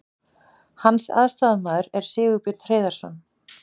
Hans aðstoðarmaður er Sigurbjörn Hreiðarsson.